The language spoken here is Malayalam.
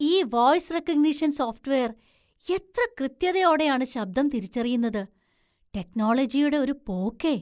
ഈ വോയ്സ് റെക്കഗ്നിഷൻ സോഫ്റ്റ്വെയർ എത്ര കൃത്യതയോടെയാണ് ശബ്ദം തിരിച്ചറിയുന്നത്. ടെക്നോളജിയുടെ ഒരു പോക്കേ!